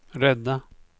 rädda